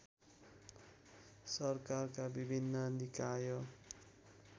सरकारका विभिन्न निकाय